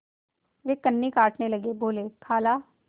वे कन्नी काटने लगे बोलेखाला